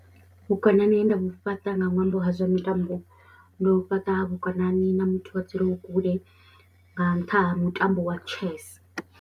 Vhukonani he nda vhu fhaṱa nga ṅwambo ha zwa mitambo ndo fhaṱa vhukonani na muthu a dzuleho kule nga nṱha ha mutambo wa chess.